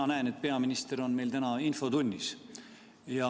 Ma näen, et peaminister on meil täna infotunnis.